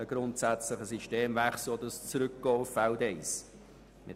Deswegen wird sie dann auch gegen den Rückweisungsantrag stimmen.